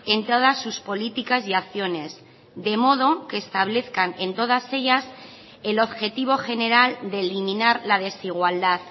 en todas sus políticas y acciones de modo que establezcan en todas ellas el objetivo general de eliminar la desigualdad